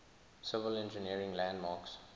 civil engineering landmarks